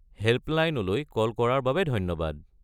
হে'ল্পলাইনলৈ call কৰাৰ বাবে ধন্যবাদ।